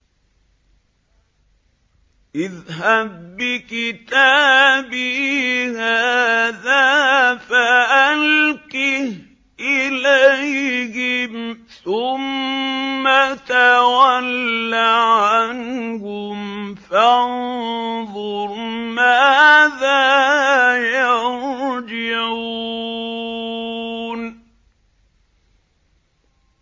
اذْهَب بِّكِتَابِي هَٰذَا فَأَلْقِهْ إِلَيْهِمْ ثُمَّ تَوَلَّ عَنْهُمْ فَانظُرْ مَاذَا يَرْجِعُونَ